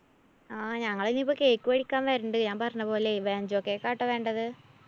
ആ ഞങ്ങളിനിപ്പോ cake വേടിക്കാന്‍ വരണ്ട്. ഞാന്‍ പറഞ്ഞപോലെ vancho cake ആട്ടോ വേണ്ടത്.